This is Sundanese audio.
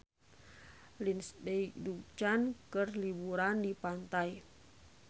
Lindsay Ducan keur liburan di pantai